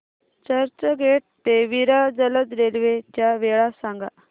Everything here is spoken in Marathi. चर्चगेट ते विरार जलद रेल्वे च्या वेळा सांगा